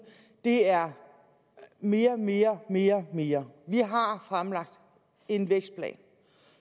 er mere mere mere mere vi har fremlagt en vækstplan